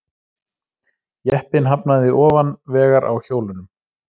Jeppinn hafnaði ofan vegar á hjólunum